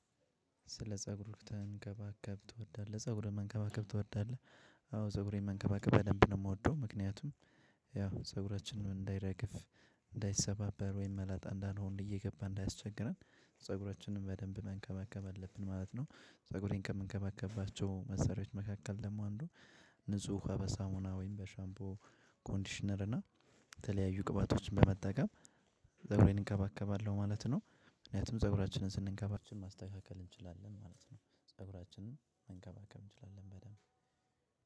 ስለ ፀጉሩ ተንከባከብ ትወዳለህ ፀጉርን መንከባከብ ትወዳለህ? አዎ ፀጉሬን መንከባከብ በደንብ ነው የምወደው ምክንያቱም ያው ፀጉራችንን እንዳይረግፍ እንዳይሰባበር ወይም መላጣ እንዳንሆነ እየገባ እንዳያስቸግረን ፀጉራችንን በደንብ መንከባከብ አለብን ማለት ነው። ፀጉሬን ከምንከባከብባቸው መሰሪያዎች መካከል ደግሞ አንዱ። ንጹህ ውሃ በሳሙና ወይም በሻምቦ ኮንዲሽነር እና የተለያዩ ቅባቶችን በመጠቀም። ፀጉሬን እንከባከባለሁ ማለት ነው። ምክንያቱም ፀጉራችንን ስንከባ እንችላለን ማለት ነው። ፀጉራችንን መንከባከብ እንችላለን በደንብ